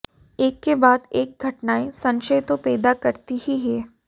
एक के बाद एक घटनाएं शंशय तो पैदा करती ही हैं